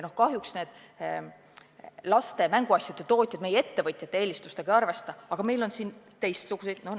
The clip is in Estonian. Kahjuks laste mänguasjade tootjad meie ettevõtjate eelistustega ei arvesta, aga meil on siin teistsuguseid mänguasju.